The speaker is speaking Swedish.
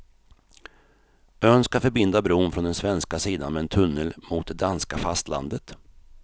Ön ska förbinda bron från den svenska sidan med en tunnel mot det danska fastlandet.